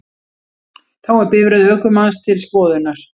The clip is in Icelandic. Þá er bifreið ökumanns til skoðunar